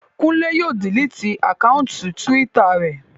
Kúnlé yóò diliti àkáùntì túwítà rẹ̀